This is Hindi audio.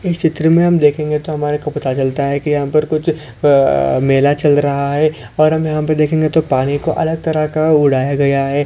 इस चित्र मे हम देखेंगे तो हमारे को पता चलता है की यहाँ पर कुछ आ मेला चल रहा है और हमे यहाँ पे देखेंगे तो पानी को अलग तरह का उड़ाया गया है।